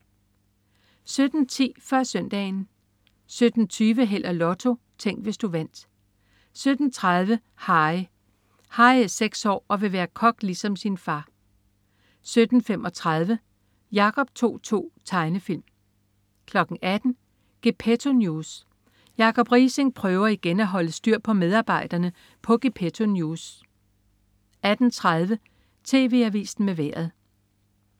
17.10 Før Søndagen 17.20 Held og Lotto. Tænk, hvis du vandt 17.30 Harry. Harry er seks år og vil være kok ligesom sin far 17.35 Jacob To-To. Tegnefilm 18.00 Gepetto News. Jacob Riising prøver igen at holde styr på medarbejderne på Gepetto News 18.30 TV Avisen med Vejret